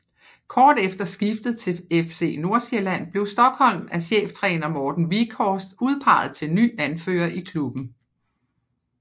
Kort efter skiftet til FC Nordsjælland blev Stokholm af cheftræner Morten Wieghorst udpeget til ny anfører i klubben